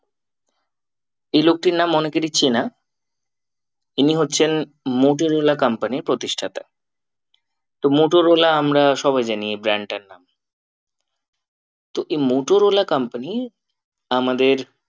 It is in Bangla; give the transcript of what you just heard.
এই লোকটির নাম অনেকেরই চেনা ইনি হচ্ছেন মোটরলা company র প্রতিষ্ঠাতা তো মটোরলা আমরা সবাই জানি এই brand টার নাম। তো এই মটোরলা company আমাদের